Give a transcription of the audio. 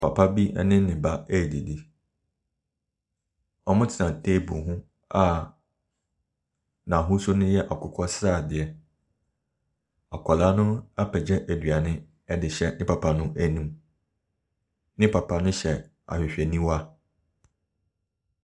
Papa bi ne ne ba redidi. Wɔte table ho a n'ahosuo no yɛ akokɔ sradeɛ. Akwadaa no apagya aduane de rehyɛ ne papa no anoum. Ne papa no hyɛ ahwehwɛniwa.